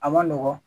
A man nɔgɔn